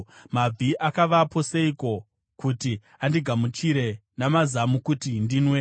Mabvi akavapo seiko kuti andigamuchire namazamu kuti ndinwe?